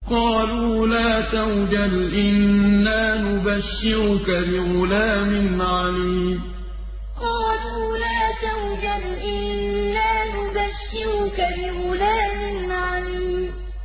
قَالُوا لَا تَوْجَلْ إِنَّا نُبَشِّرُكَ بِغُلَامٍ عَلِيمٍ قَالُوا لَا تَوْجَلْ إِنَّا نُبَشِّرُكَ بِغُلَامٍ عَلِيمٍ